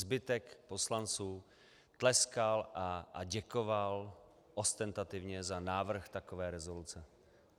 Zbytek poslanců tleskal a děkoval ostentativně za návrh takové rezoluce.